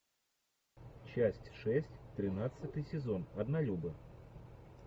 часть шесть тринадцатый сезон однолюбы